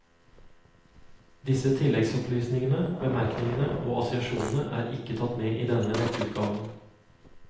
Disse tilleggsopplysningene, bemerkningene og assosiasjonene er ikke tatt med i denne nettutgaven.